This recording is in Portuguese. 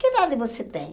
Que idade você tem?